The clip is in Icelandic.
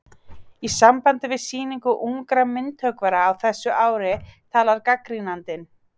Í sambandi við Sýningu ungra myndhöggvara á þessu ári talar gagnrýnandinn